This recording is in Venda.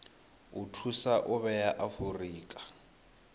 o thusa u vhea afurika